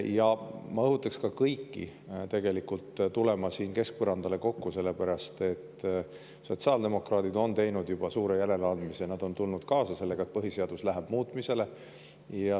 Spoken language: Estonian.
Ja ma õhutaks kõiki tegelikult tulema siin keskpõrandale kokku, sellepärast et sotsiaaldemokraadid on teinud juba suure järeleandmise, nad on tulnud kaasa sellega, et põhiseadus läheb muutmisele.